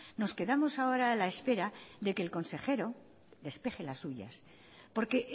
nos quedamos ahora a la espera de que el consejero despeje las suyas porque